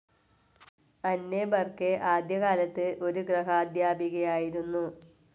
അന്നെ ബർക്കെ ആദ്യകാലത്ത് ഒരു ഗ്രഹാദ്ധ്യാപികയായിരുന്നു.